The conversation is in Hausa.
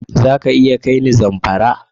Za ka iya kai ni Zamfara?